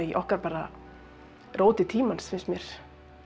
okkar bara róti tímans finnst mér